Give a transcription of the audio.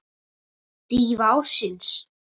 Dýfa ársins?